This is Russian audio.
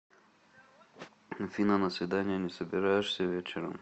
афина на свидание не собираешься вечером